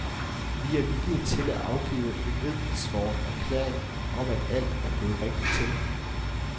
Vi er villige til at afgive en edsvoren erklæring om at alt er gået rigtigt til.